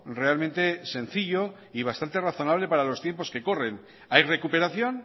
realmente sencillo y bastante razonable para los tiempos que corren hay recuperación